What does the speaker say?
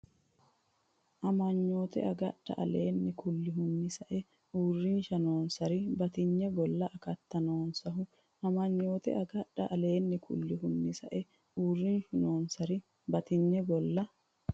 Amanyoote agadha aleenni kullihunni sa’e uurrinshu noonsari batinye golla akati noosiho Amanyoote agadha aleenni kullihunni sa’e uurrinshu noonsari batinye golla.